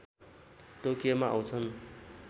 टोकियोमा आउँछन्